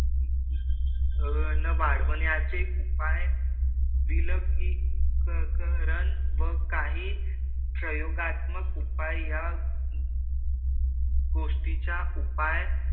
वाढवण्याचे उपाय दिलं की क कारण व काही प्रयोगात्मक उपाय या गोष्टीच्या उपाय,